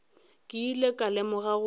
ke ile ka lemoga gore